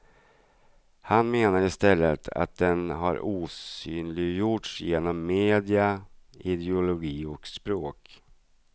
Han menar istället att den har osynliggjorts genom media, ideologi och språk.